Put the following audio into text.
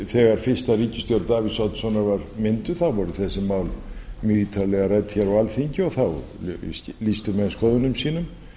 þegar fyrsta ríkisstjórn davíðs oddssonar var mynduð þá voru þessi mál mjög ítarlega rædd hér á alþingi og á lýstu menn skoðunum sínum